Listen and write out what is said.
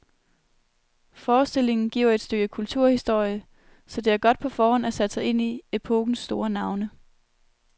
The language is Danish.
Forestillingen giver et stykke kulturhistorie, så det er godt på forhånd at have sat sig ind i epokens store navne.